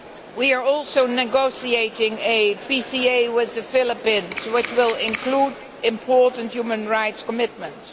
We are also negotiating a PCA with the Philippines which will include important human rights commitments.